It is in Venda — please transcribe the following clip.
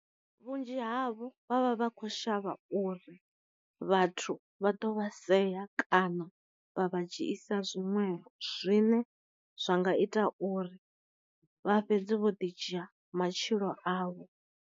Vhunzhi havho vha vha vha kho shavha uri vhathu vha ḓo vha sea kana vha vha dzhiisa zwinwevho, zwine zwa nga ita uri vha fhedze vho ḓi dzhia matshilo avho.